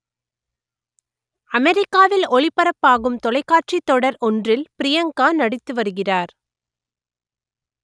அமெரிக்காவில் ஒளிபரப்பாகும் தொலைக்காட்சி தொடர் ஒன்றில் ப்ரியங்கா நடித்து வருகிறார்